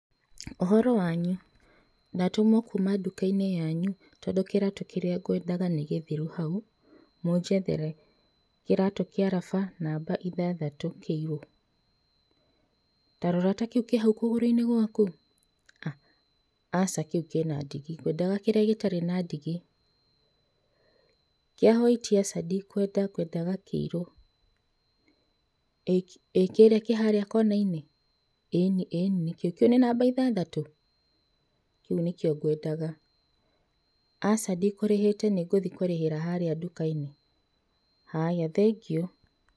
Ũhoro wanyu? Ndatũmwo kuuma nduka-inĩ yanyu, tondũ kĩratũ kĩrĩa ngwendaga nĩ gĩthiru hau, mũnjethere. Kiratũ kĩa raba, namba ithathatũ, kĩiru. Tarora ta kĩu kĩ hau kũgũrũ-inĩ gwaku. A! Aca kĩu kĩna ndigi, ngwendaga kĩrĩa gĩtarĩ na ndigi. Kĩa hoiti aca ndikwenda, ngwendaga kĩirũ. ĩkĩ, ĩ kĩrĩa kĩharĩa kona-inĩ? ĩĩni, ĩĩni nĩkĩo kĩu. Kĩu nĩ namba ithathatũ? Kĩu nĩkĩo ngwendaga. Aca ndikũrĩhĩte, nĩngũthiĩ kũrĩhĩra harĩa nduka-inĩ. Haya, thengiũ.